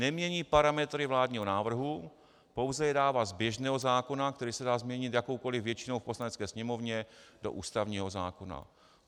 Nemění parametry vládního návrhu, pouze je dává z běžného zákona, který se dá změnit jakoukoli většinou v Poslanecké sněmovně, do ústavního zákona.